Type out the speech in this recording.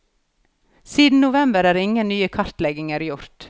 Siden november er ingen nye kartlegginger gjort.